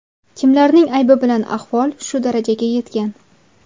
Kimlarning aybi bilan ahvol shu darajaga yetgan?